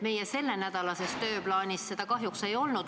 Meie sellenädalases tööplaanis seda kahjuks ei olnud.